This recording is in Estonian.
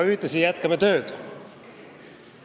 Ühtlasi jätkame aga tööd.